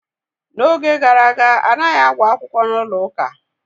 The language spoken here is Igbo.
N'oge gara aga, anaghị agba akwụkwọ n'ụlọ ụka.